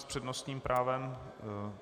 S přednostním právem...